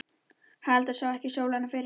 Haraldur sá ekki sólina fyrir henni.